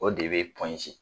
O de be pɔnze